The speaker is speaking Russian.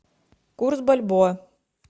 курс бальбоа